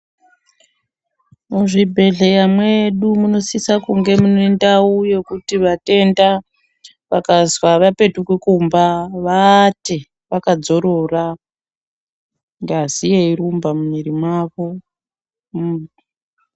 Muzvibhedhlera medu munosisa kunge muine ndao yekuti vatenda vakazwi avapetuki kumba vaate vakazororo ngazi yeirumba mumwiri memuntu.